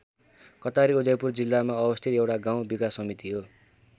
कटारी उदयपुर जिल्लामा अवस्थित एउटा गाउँ विकास समिति हो।